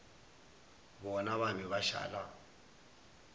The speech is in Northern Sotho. bona ba be ba šala